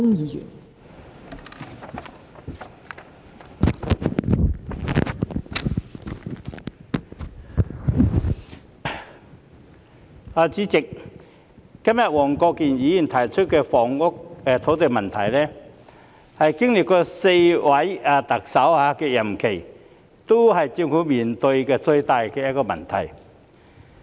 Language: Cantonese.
代理主席，黃國健議員今天提出的房屋土地問題，經歷4任特首，是每一屆政府面對的最大問題。